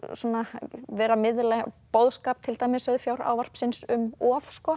vera að miðla boðskap til dæmis um of